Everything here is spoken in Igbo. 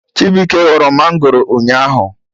Chibuike ghọrọ mangoro ụnyaahụ